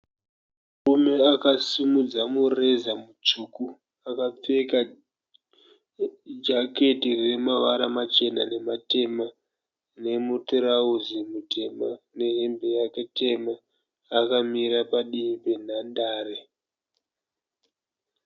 Murume akasimudza mureza mutsvuku . Akapfeka jaketi remavara machena nematema, nemutarauzi mutema nehembe yake tema akamira padivi penhandare .